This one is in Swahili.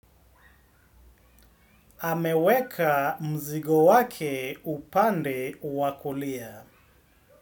Ameweka mzigo wake upande wa kulia.